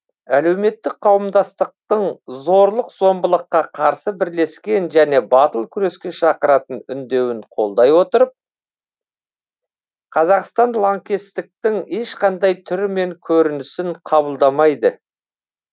әлеуметтік қауымдастықтың зорлық зомбылыққа қарсы бірлескен және батыл күреске шақыратын үндеуін қолдай отырып қазақстан лаңкестіктің ешқандай түрі мен көрінісін қабылдамайды